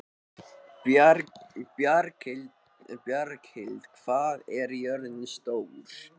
Bjarklind, hvað er jörðin stór?